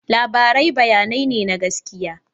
Labarai bayanai ne na gaskiya.